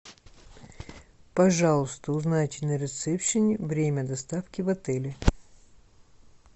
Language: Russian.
пожалуйста узнайте на ресепшене время доставки в отеле